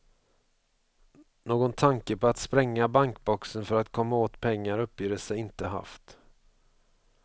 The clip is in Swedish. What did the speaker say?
Någon tanke på att spränga bankboxen för att komma åt pengar uppger de sig inte haft.